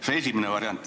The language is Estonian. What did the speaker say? See on esimene variant.